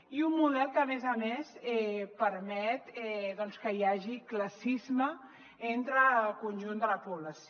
i un model que a més a més permet doncs que hi hagi classisme entre el conjunt de la població